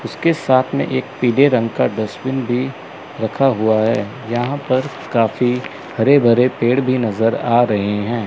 इसके साथ में एक पीले रंग का डस्टबिन भी रखा हुआ है। यहां पर काफी हरे भरे भी नजर आ रहे हैं।